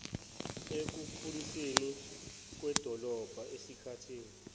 ekukhulisweni kwedolobha esikathini